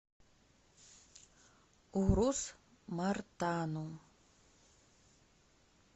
урус мартану